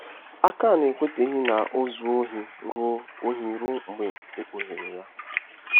Akan ekwetaghị na o zuo ohi ruo ohi ruo mgbe e kpughere ya.